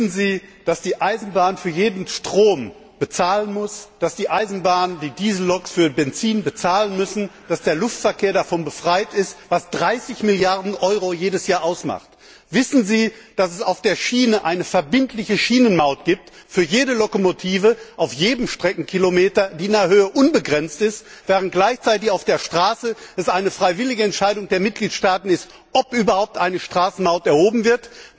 Wissen Sie, dass die Eisenbahn für jeden Stromverbrauch bezahlen muss, dass die Eisenbahn, die Dieselloks für Treibstoff bezahlen müssen, dass der Luftverkehr davon befreit ist, was 30 Milliarden EUR jedes Jahr ausmacht? Wissen Sie, dass es auf der Schiene eine verbindliche Schienenmaut für jede Lokomotive auf jedem Streckenkilometer gibt, die in der Höhe unbegrenzt ist, während es gleichzeitig auf der Straße eine freiwillige Entscheidung der Mitgliedstaaten ist, ob überhaupt eine Straßenmaut erhoben wird?